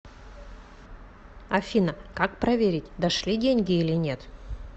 афина как проверить дошли деньги или нет